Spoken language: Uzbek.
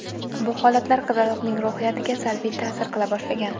Bu holatlar qizaloqning ruhiyatiga salbiy ta’sir qila boshlagan.